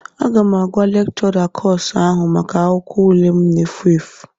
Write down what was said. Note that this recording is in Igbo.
Aga m agwa lekchọra kọsu ahụ maka akwụkwọ ule m na-efu efu